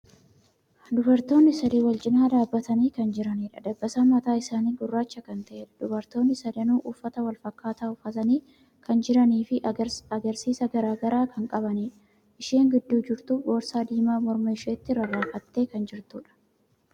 Dubartootni sadi walcinaa dhaabbatanii kan jiraniidha. Dabbasaan mataa isaanii gurraacha kan ta'eedha. Dubartootni sadanuu uffata walfakkaataa uffatanii kan jiranii fi agarsiisa garagaraa kan qabaniidha. Isheen gidduu jirtu boorsaa diimaa morma isheetti rarraafattee kan jirtuudha.